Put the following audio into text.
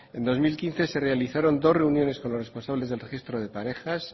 en dos mil quince se realizaron dos reuniones con los responsables del registro de parejas